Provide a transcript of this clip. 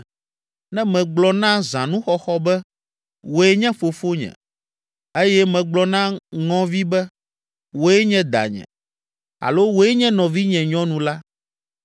ne megblɔ na zãnuxɔxɔ be, ‘Wòe nye fofonye,’ eye megblɔ na ŋɔvi be, ‘Wòe nye danye’ alo ‘Wòe nye nɔvinye nyɔnu’ la,